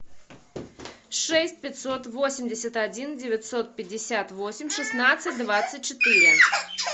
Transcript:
шесть пятьсот восемьдесят один девятьсот пятьдесят восемь шестнадцать двадцать четыре